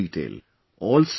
Do tell us in detail